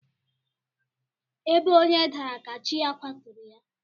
Ebe onye dara ka chi ya kwaturu ya.